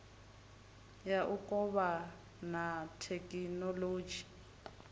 ya u kovhana thekhinolodzhi u